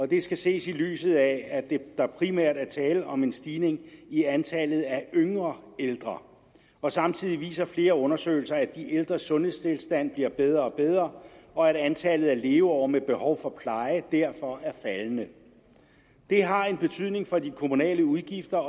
det skal ses i lyset af at der primært er tale om en stigning i antallet af yngre ældre og samtidig viser flere undersøgelser at de ældres sundhedstilstand bliver bedre og bedre og at antallet af leveår med behov for pleje derfor er faldende det har betydning for de kommunale udgifter